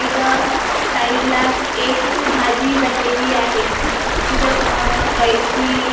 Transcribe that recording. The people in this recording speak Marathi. इथं साईड ला एक भाजी बनलेली आहे तिथं अह कैची--